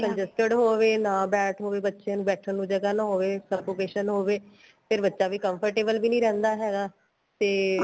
congested ਹੋਵੇ ਨਾ ਬੈਠ ਹੋਵੇ ਬੱਚੇ ਨੂੰ ਬੈਠਣ ਨੂੰ ਜਗ੍ਹਾ ਨਾ ਹੋਵੇ suffocation ਹੋਵੇ ਫੇਰ ਬੱਚਾ ਵੀ comfortable ਵੀ ਨੀਂ ਰਹਿੰਦਾ ਹੈਗਾ ਤੇ